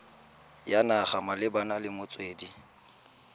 ya naga malebana le metswedi